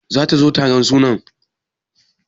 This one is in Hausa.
Zata zo taron sunan?